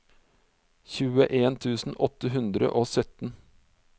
tjueen tusen åtte hundre og sytten